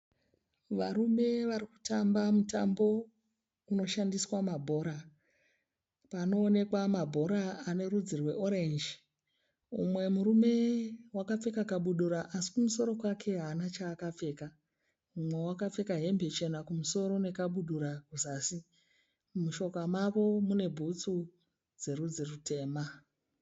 Varume vari kutamba mutambo unoshandiswa mabhora. Panoonekwa mabhora ane rudzi rweorenji. Mumwe murume wakapfeka kabhudura asi kumusoro kwake haana chaakapfeka. Mumwe awakapfeka hembe chena kumusoro nekabudura. Mushoka mavo mune bhutsu dzerudzi rutema.